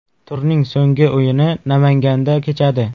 Turning so‘nggi o‘yini Namanganda kechadi.